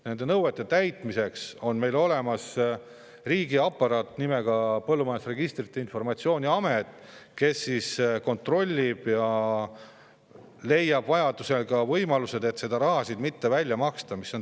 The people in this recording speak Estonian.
Nende nõuete täitmise on meil olemas riigi nimega Põllumajanduse Registrite ja Informatsiooni Amet, kes kontrollib kõike ja leiab vajadusel võimaluse seda raha mitte välja maksta.